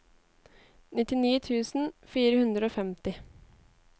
nittini tusen fire hundre og femti